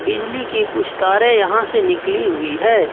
बिजली के कुछ तारे यहां से निकली हुई है।